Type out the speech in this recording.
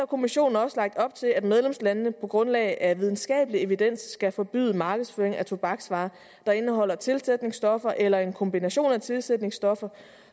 kommissionen også lagt op til at medlemslandene på grundlag af videnskabelig evidens skal forbyde markedsføring af tobaksvarer der indeholder tilsætningsstoffer eller en kombination af tilsætningsstoffer